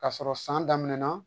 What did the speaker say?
K'a sɔrɔ san daminɛna